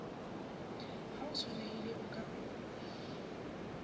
ha ho tshwanelehile o ka